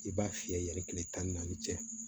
I b'a fiyɛ yɛrɛ kile tan ni naani cɛ